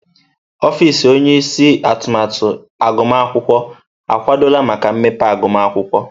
Ọfịs onye isi atụmatụ agụmakwụkwọ akwadola maka mmepe agụmakwụkwọ.